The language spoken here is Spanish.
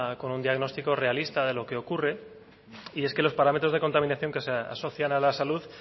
con un diagnostico realista de lo que ocurre y es que los parámetros de contaminación que se asocian a la salud